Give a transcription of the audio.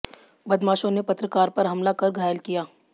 बदमाशों ने पत्रकार पर हमला कर घायल किया